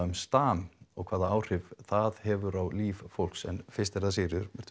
um stam og hvaða áhrif það hefur á líf fólks en fyrst Sigríður